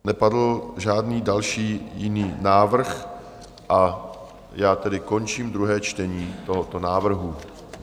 Nepadl žádný další, jiný návrh, a já tedy končím druhé čtení tohoto návrhu.